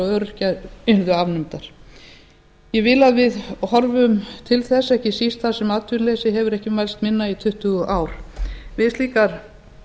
og öryrkja yrðu afnumdar ég vil að við horfum til þess ekki síst þar sem atvinnuleysi hefur ekki mælst minna í tuttugu ár við slíkar